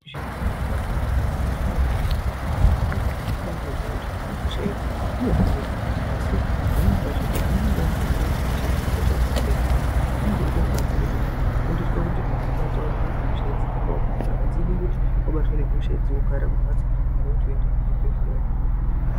Zvirwere zvepabonde zvakakosha maningi ngekuti zviro kwazvo kibatiziya kuti hosha idzi dzinohinika asi pamweni pacho ana anenge asingazii kuti hosha idzi ihosha dzakadini Zvekuti anenga eide rubatsiro rwokufundiswe kuti ataurirwe kuti hosha dzakaomarara adzidi kuti wabatwe nehosha idzi wogare kumhatso pane kuti uende kuchibhedleya.